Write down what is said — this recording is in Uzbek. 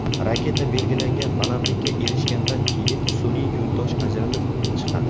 Raketa belgilangan balandlikka erishgandan keyin sun’iy yo‘ldosh ajralib chiqadi.